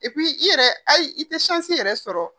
i yɛrɛ hali i tɛ yɛrɛ sɔrɔ